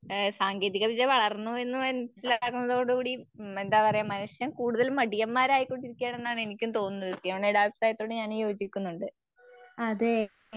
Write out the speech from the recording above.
അഹ് സാങ്കേതികവിക വളർന്നു മനസ്സിലാകുന്നതോടുകൂടി ഉം എന്താപറയ മനുഷ്യൻ കൂടുതൽ മടിയന്മാരായ കൊണ്ടിരിക്കുകയാണെന്നാണ് എനിക്കും തോന്നുന്നൂ. സിയോണ ഞാനും ചോദിക്കുന്നുണ്ട്.